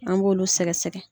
An b'olu sɛgɛ sɛgɛ.